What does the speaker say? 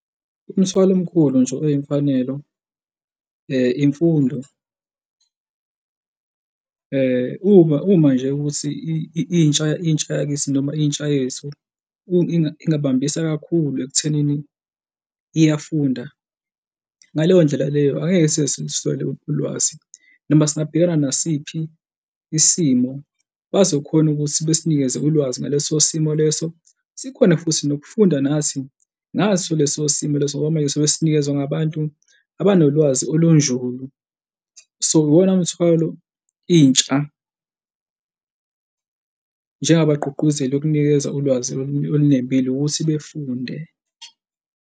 Umthwalo omkhulu nje oyimfanelo, imfundo uma, uma nje ukuthi intsha, intsha yakithi noma intsha yethu ingabambisa kakhulu ekuthenini iyafunda. Ngaleyo ndlela leyo angeke size siluswele ulwazi noma singabhekana nasiphi isimo, bazokhona ukuthi besinikeze ulwazi ngaleso simo leso, sikhone futhi nokufunda nathi ngaso leso simo leso ngoba manje sobe sesinikezwe ngabantu abanolwazi olunzulu. So, iwona mthwalo intsha abagqugquzeli okunikeza ulwazi olunembile ukuthi befundela.